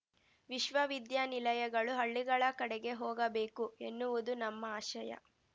ವಿಶ್ವವಿದ್ಯಾನಿಲಯಗಳು ಹಳ್ಳಿಗಳ ಕಡೆಗೆ ಹೋಗಬೇಕು ಎನ್ನುವುದು ನಮ್ಮ ಆಶಯ